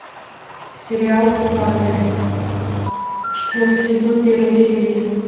сериал сваты четвертый сезон первая серия